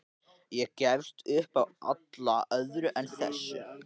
Og gefist upp á öllu öðru en þessu.